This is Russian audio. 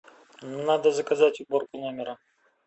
надо заказать уборку номера